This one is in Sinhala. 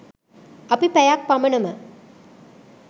අපි පැයක් පමණම